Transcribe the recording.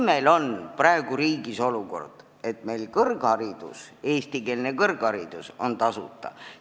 Meil on praegu riigis olukord, et eestikeelne kõrgharidus on tasuta.